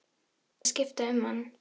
Ég þurfti að skipta um hann.